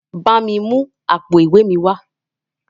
Bámi mú àpò ìwé mi wá.